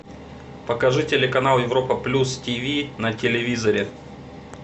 покажи телеканал европа плюс ти ви на телевизоре